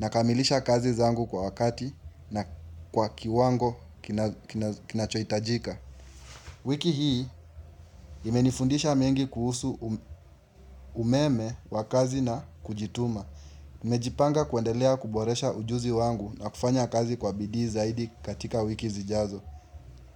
na kamilisha kazi zangu kwa wakati na kwa kiwango kinachoitajika. Wiki hii imenifundisha mengi kuhusu umeme wa kazi na kujituma. Najipanga kuendelea kuboresha ujuzi wangu na kufanya kazi kwa bidii zaidi katika wiki zijazo.